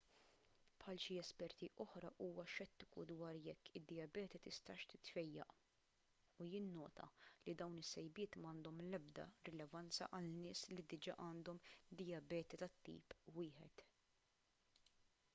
bħal xi esperti oħra huwa xettiku dwar jekk id-dijabete tistax titfejjaq u jinnota li dawn is-sejbiet m'għandhom l-ebda rilevanza għal nies li diġà għandhom dijabete tat-tip 1